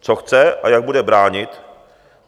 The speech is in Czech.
Co chce a jak bude bránit.